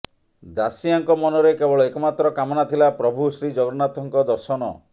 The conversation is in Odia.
ଦାସିଆଙ୍କ ମନରେ କେବଳ ଏକମାତ୍ର କାମନା ଥିଲା ପ୍ରଭୁ ଶ୍ରୀ ଜଗନ୍ନାଥଙ୍କ ଦର୍ଶନ